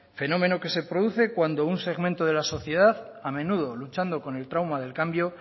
fenómeno que se produce cuando un segmento de la sociedad a menudo luchando con el trauma del cambio